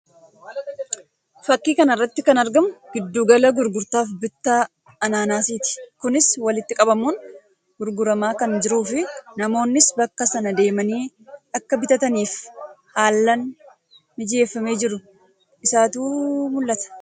Fakkii kana irratti kan argamu giddu gala gurgurtaa fi bittaa anaanaasii ti. Kunis walitti qabamuun gurguramaa kan jiruu fi namoonnis bakka sana deemanii akka bitataniif haall mijeeffamee jiruu isaatu mul'ata.